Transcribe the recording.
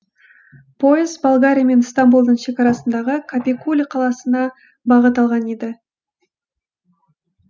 пойыз болгария мен стамбулдың шекарасындағы капикуле қаласына бағыт алған еді